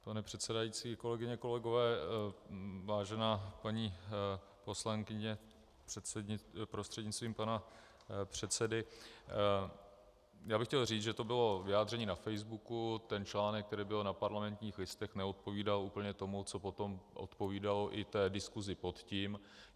Pane předsedající, kolegyně, kolegové, vážená paní poslankyně prostřednictvím pana předsedy, já bych chtěl říct, že to bylo vyjádření na Facebooku, ten článek, který byl na Parlamentních listech, neodpovídal úplně tomu, co potom odpovídalo i té diskusi pod tím.